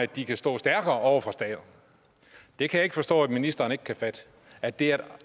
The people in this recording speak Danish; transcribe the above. de kan stå stærkere over for staterne jeg kan ikke forstå at ministeren ikke kan fatte at det er et